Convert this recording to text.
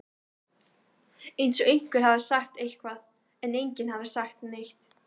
eins og einhver hefði sagt eitthvað, en enginn hafði sagt neitt.